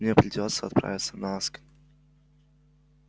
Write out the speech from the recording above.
мне придётся отправиться на асконь